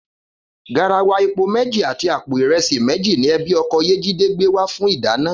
Garawa epo méjì àti àpò ìre̩sì méjì ni e̩bí o̩ko̩ Yéjídé gbé wá fún ìdána